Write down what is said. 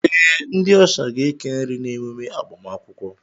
Ee, ndị ọsha ga-eke nri n'emume agbamakwụkwọ